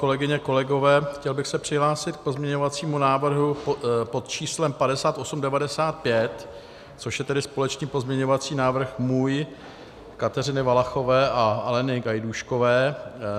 Kolegyně, kolegové, chtěl bych se přihlásit k pozměňovacímu návrhu pod číslem 5895, což je tedy společný pozměňovací návrh můj, Kateřiny Valachové a Aleny Gajdůškové.